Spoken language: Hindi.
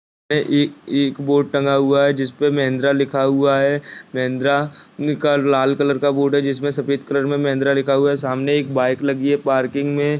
ए-ए ये एक बोर्ड टंगा हुआ है जिसपे महिन्द्रा लिखा हुआ है महिन्द्रा का लाल कलर का बोर्ड है जिसमें से सफ़ेद कलर में महिन्द्रा लिखा हुआ है सामने एक बाइक लगी है पार्किंग में।